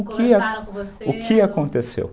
O que aconteceu?